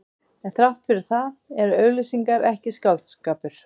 En þrátt fyrir það eru auglýsingar ekki skáldskapur.